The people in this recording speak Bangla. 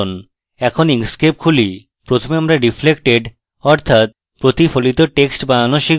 এখন inkscape খুলি প্রথমে আমরা reflected অর্থাৎ প্রতিফলিত text বানানো শিখব